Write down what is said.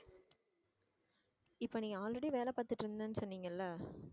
இப்போ நீங்க already வேலை பார்த்துட்டு இருந்தேன்னு சொன்னீங்க இல்லை